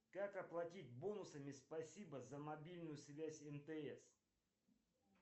как оплатить бонусами спасибо за мобильную связь мтс